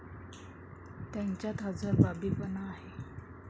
त्यांच्यात हजरजबाबीपणा आहे.